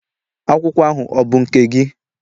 Akwụkwọ ahụ ọ bụ nke gị?